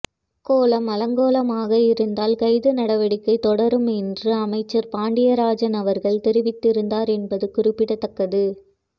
கோலம் அலங்கோலமாக இருந்தால் கைது நடவடிக்கை தொடரும் என்று அமைச்சர் பாண்டியராஜன் அவர்கள் தெரிவித்திருந்தார் என்பது குறிப்பிடத்தக்கது